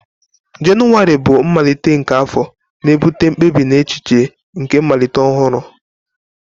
Jenụwarị bụ mmalite nke afọ, na-ebute mkpebi na echiche nke mmalite ọhụrụ.